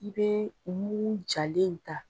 I bee mugu jalen ye ta